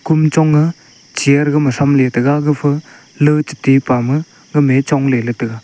kom chonga chair gama chamle tega gapha lee chetepa ma gamae chongle tega.